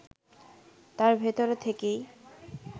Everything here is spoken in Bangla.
তার ভেতরে থেকেই